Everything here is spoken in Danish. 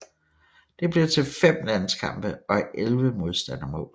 Det blev til 5 landskampe og 11 modstander mål